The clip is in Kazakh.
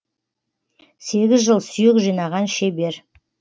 сегіз жыл сүйек жинаған шебер